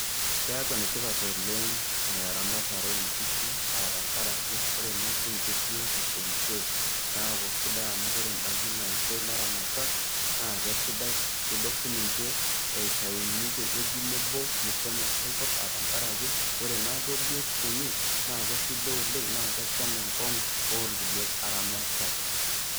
Keaku enetipat oleng' eramatare oo nkishu aa tenkarake, oree naa siininye biotisho enye neaku enda ake naisho kulo airamatak naake sidai. Idol sininche eitayuni tewueji nabo meshomo enkai kop tenkara ake ore naa duo biotisho enye naa kesidain oleng' naa kesham enkong'u oo kulie airamatak.